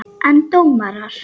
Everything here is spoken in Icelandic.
En dómarar?